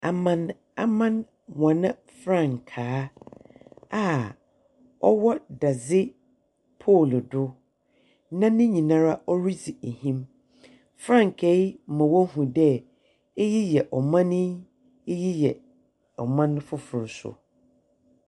Amanaman wɔn frankaa a ɔwɔ dadze pool do na nyina ara ɔdzi ahim. Frankaa yi ma wahu dɛɛ, eyi yɛ ɔman yi, eyi yɛ ɔman foforo so.